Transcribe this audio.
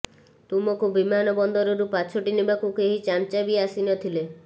ତୁମକୁ ବିମାନବନ୍ଦରରୁ ପାଛୋଟି ନେବାକୁ କେହି ଚାମ୍ଚା ବି ଆସି ନଥିଲେ